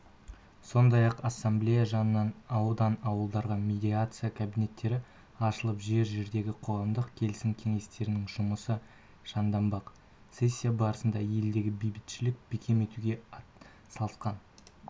сондай-ақ ассамблея жанынан аудан-ауылдарда медиация кабинеттері ашылып жер-жердегі қоғамдық келісім кеңестерінің жұмысы жанданбақ сессия барысында елдегі бейбітшілікті бекем етуге атсалысқан